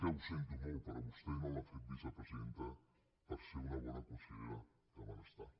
ho sento molt però a vostè no l’han fet vicepresidenta perquè sigui una bona consellera de benestar